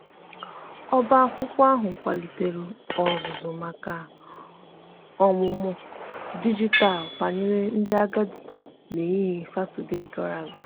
ọba akwụkwo ahu kwalitere ozuzu maka ọmụmụ dịjịtalụ banyere ndi agadi n'ehihie satọde gara aga.